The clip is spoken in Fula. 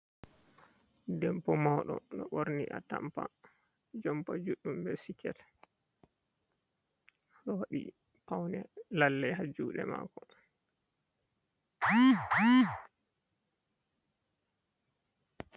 Debbo mawɗo, o ɗo ɓorni atampa jompa juɗɗum be siket .O ɗo waɗi pawne lalle haa juuɗe maako.